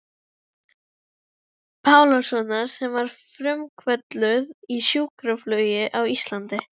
Pálssonar sem var frumkvöðull í sjúkraflugi á Íslandi.